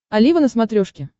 олива на смотрешке